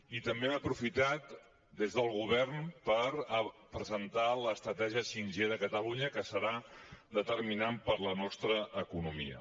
i també hem aprofitat des del govern per presentar l’estratègia 5g de catalunya que serà determinant per a la nostra economia